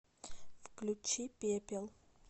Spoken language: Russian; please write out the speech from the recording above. включи пепел